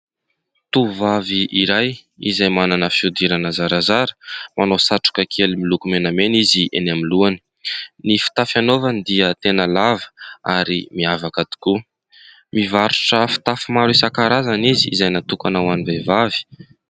Tovovavy iray izay manana fihodirana zarazara. Manao satroka kely miloko menamena izy eny amin'ny lohany. Ny fitafy hanaovany dia tena lava ary miavaka tokoa. Mivarotra fitafy maro isankarazany izy izay natokana ho any vehivavy.